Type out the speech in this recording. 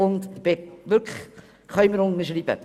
Das können wir unterschreiben!